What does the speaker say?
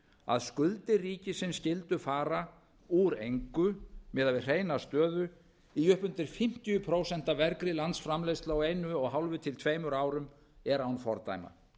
að skuldir ríkisins skyldu fara úr engu miðað við hreina stöðu í upp undir fimmtíu prósent af vergri landsframleiðslu á einu og hálfu til tveimur árum er án fordæma